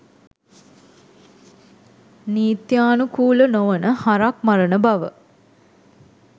නිත්‍යානුකුල නොවන හරක් මරණ බව.